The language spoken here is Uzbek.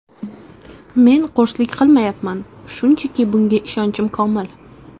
Men qo‘rslik qilmayapman, shunchaki bunga ishonchim komil.